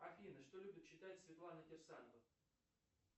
афина что любит читать светлана кирсанова